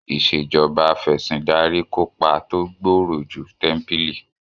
Ìṣèjoba Af'ẹ̀sìndarí kópa tó gbòòrò ju tẹ́ḿpílì